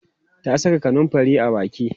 ta Saka kanumfari a Baki